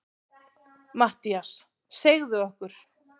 MATTHÍAS: Segðu okkur.